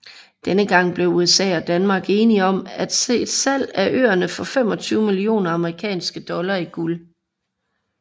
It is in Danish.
Denne gang blev USA og Danmark enige om et salg af øerne for 25 millioner amerikanske dollar i guld